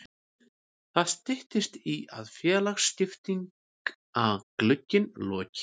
Það styttist í að félagaskiptaglugginn loki.